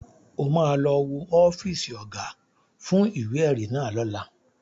O ma lọ wo ọ́fíìsì Ọ̀gá fún ìwé-ẹ̀rí náà lọ́la